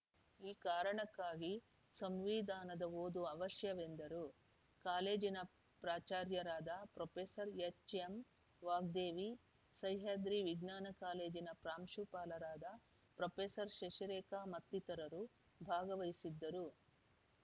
ಈ ಕಾರಣಕ್ಕಾಗಿ ಸಂವಿಧಾನದ ಓದು ಅವಶ್ಯವೆಂದರು ಕಾಲೇಜಿನ ಪ್ರಾಚಾರ್ಯರಾದ ಪ್ರೊಫೆಸರ್ ಎಚ್‌ಎಂ ವಾಗ್ದೇವಿ ಸಹ್ಯಾದ್ರಿ ವಿಜ್ಞಾನ ಕಾಲೇಜಿನ ಪ್ರಾಂಶುಪಾಲರಾದ ಪ್ರೊಫೆಸರ್ ಶಶಿರೇಖಾ ಮತ್ತಿತರರು ಭಾಗವಹಿಸಿದ್ದರು